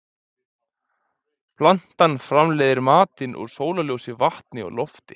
Plantan framleiðir matinn úr sólarljósi, vatni og lofti.